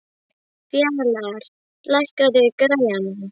Fjalar, lækkaðu í græjunum.